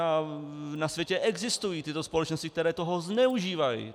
A na světě existují tyto společnosti, které toho zneužívají.